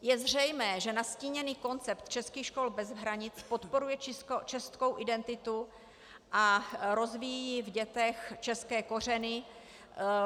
Je zřejmé, že nastíněný koncept českých škol bez hranic podporuje českou identitu a rozvíjí v dětech české kořeny.